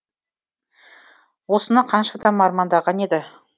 осыны қанша адам армандаған еді